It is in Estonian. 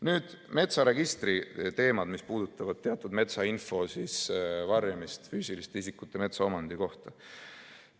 Nüüd, metsaregistri teemad, mis puudutavad teatud metsainfo varjamist füüsiliste isikute metsaomandi kohta.